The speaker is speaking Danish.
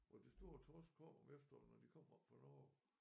Hvor de store torsk kommer om efteråret når de kommer oppe fra Norge